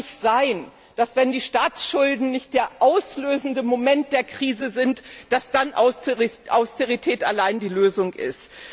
Es kann nicht sein, dass, wenn die Staatsschulden nicht der auslösende Moment der Krise sind, Austerität allein die Lösung ist.